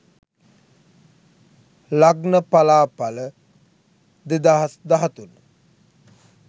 lagna palapala 2013